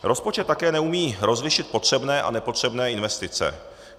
Rozpočet také neumí rozlišit potřebné a nepotřebné investice.